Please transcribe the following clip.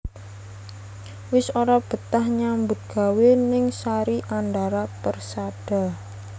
Wis ora betah nyambut gawe ning Sari Andara Persada